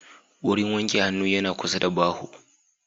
Wurin wanke hannu yana kusa da baho